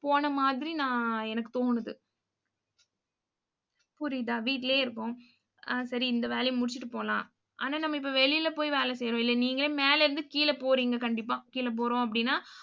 போன மாதிரி நான் எனக்கு தோணுது. புரியுதா? வீட்டிலேயே இருப்போம். ஆ சரி இந்த வேலையை முடிச்சிட்டு போகலாம். ஆனா நம்ம இப்ப வெளியில போய் வேலை செய்யறோம். இல்லை நீங்களே மேலே இருந்து கீழே போறீங்க கண்டிப்பா. கீழே போறோம் அப்படின்னா